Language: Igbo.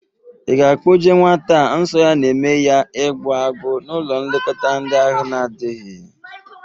Ị ga-akpọje nwata a nsọ ya na-eme ya igbọ agbụ n'ụlọ nlekọta ndị ahụ na-adịghị?